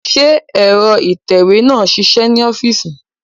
Ṣé ẹ̀rọ ìtẹ̀wé náà ń ṣiṣẹ́ ní ọ́fíìsì